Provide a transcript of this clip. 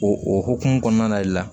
O o hokumu kɔnɔna le la